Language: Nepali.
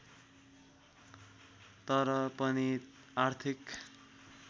तर पनि आर्थिक